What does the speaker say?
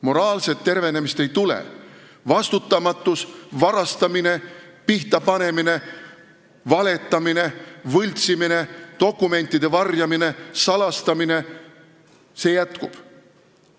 Moraalset tervenemist ei tule, vastutamatus, varastamine, pihtapanemine, valetamine, võltsimine, dokumentide varjamine, salastamine – see jätkub.